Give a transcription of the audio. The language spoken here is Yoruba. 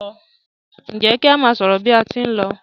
Njé ki a má sọrọ bi a tí n ló?